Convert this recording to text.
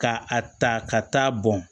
Ka a ta ka taa bɔn